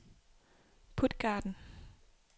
Puttgarden